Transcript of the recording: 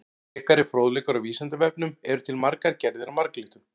Frekari fróðleikur á Vísindavefnum: Eru til margar gerðir af marglyttum?